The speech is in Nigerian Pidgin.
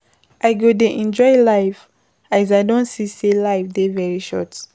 I go dey enjoy life as I don see sey life dey very short.